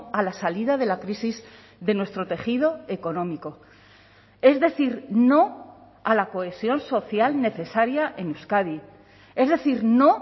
a la salida de la crisis de nuestro tejido económico es decir no a la cohesión social necesaria en euskadi es decir no